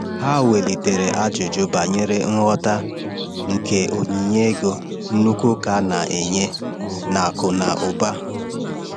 Ha welitere ajụjụ banyere nghọta nke onyinye ego nnukwu ụka na-enye na akụ na ụba.